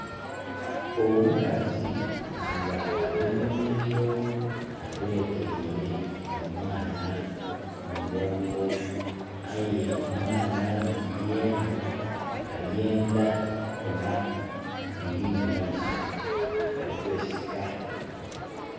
Omukazi nga ali mu nnimiro, abekeire omwaana ku mugongo aye omwaana yeena ayendha kubonaku biri mu maiso. Ali kwesika.